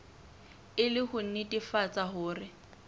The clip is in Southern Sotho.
e le ho nnetefatsa hore